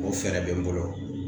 O fɛɛrɛ bɛ n bolo